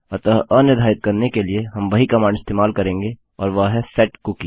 अतः अनिर्धारित करने के लिए हम वही कमांड इस्तेमाल करेंगे और वह है सेटकुकी